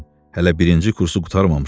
Hələ birinci kursu qurtarmamışam.